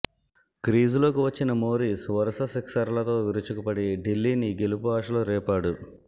క్రీజులోకి వచ్చిన మోరీస్ వరుస సిక్సర్లలతో విరుచుకుపడి ఢిల్లీని గెలుపు ఆశలు రేపాడు